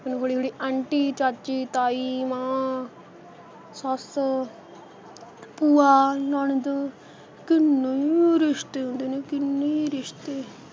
ਫਿਰ ਹੌਲੀ ਹੌਲੀ aunty ਚਾਚੀ ਤਾਈਂ ਮਾਂ ਸੱਸ ਭੂਆ ਨਨਦ ਕਿੰਨੇ ਈ ਰਿਸ਼ਤੇ ਹੁੰਦੇ ਨੇ ਕਿੰਨੇ ਈ ਰਿਸ਼ਤੇ